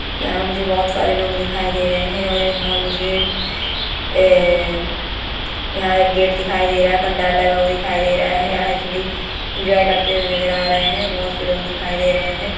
यहाँ मुझे बोहोत सारे लोग दिखाई दे रहे है और यहाँ मुझे ए यहाँ एक गेट दिखाई दे रहा है पंडाल लगा हुआ दिखाई दे रहे है यहाँ सभी इन्जॉय करते हुए नजर आ रहा है बोहोत से लोग दिखाई दे रहे है।